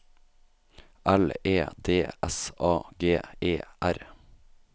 L E D S A G E R